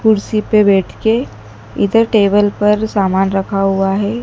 कुर्सी पे बैठ के इधर टेबल पर सामान रखा हुआ है।